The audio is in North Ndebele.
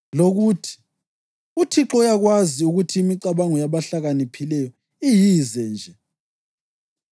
lokuthi, “UThixo uyakwazi ukuthi imicabango yabahlakaniphileyo iyize nje.” + 3.20 AmaHubo 94.11